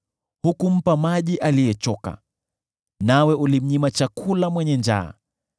Hukumpa maji aliyechoka, nawe ulimnyima chakula mwenye njaa,